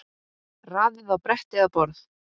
Raðið á bretti eða borð.